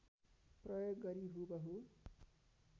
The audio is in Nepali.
प्रयोग गरी हुबहु